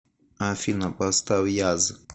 афина поставь яз